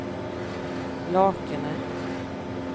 Lakene